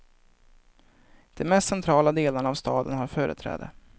De mest centrala delarna av staden har företräde.